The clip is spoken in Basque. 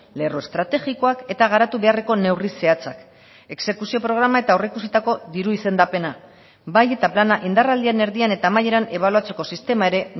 lerro estrategikoak eta garatu beharreko neurri zehatzak exekuzio programa eta aurreikusitako diru izendapena bai eta plana indarraldian erdian eta amaieran ebaluatzeko sistema ere